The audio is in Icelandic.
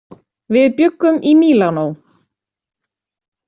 Við bjuggum í Mílanó.